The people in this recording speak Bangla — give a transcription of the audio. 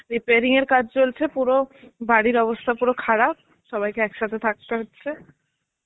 preparing এর কাজ চলছে পুরো বাড়ির অবস্থা পুরো খারাপ. সবাইকে একসাথে থাকতে হচ্ছে.